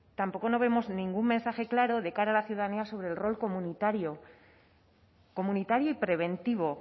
tampoco vemos ningún mensaje claro de cara a la ciudadanía sobre el rol comunitario comunitario y preventivo